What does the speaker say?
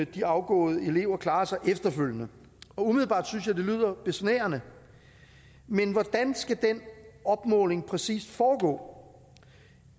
de afgåede elever klarer sig efterfølgende umiddelbart synes jeg det lyder besnærende men hvordan skal den opmåling præcis foregå